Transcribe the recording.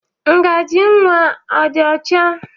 Ngajị nwa a dị ọcha?